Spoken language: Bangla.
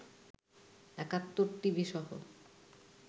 একাত্তর টিভিসহ